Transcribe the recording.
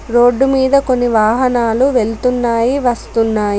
Road మీద కొన్ని వాహనాలు వెళుతున్నాయి వస్తున్నాయి.